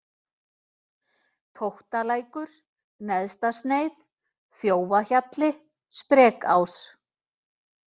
Tóttalækur, Neðstasneið, Þjófahjalli, Sprekás